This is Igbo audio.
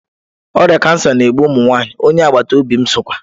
Oria kansa na-egbu ụmụ nwanyị, onye agbata obi m sokwa.